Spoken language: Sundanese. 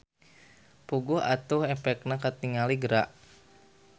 Puguh atuh epekna katingali geura.